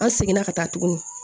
An seginna ka taa tuguni